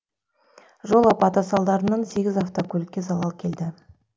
жол апаты салдарынан сегіз автокөлікке залал келді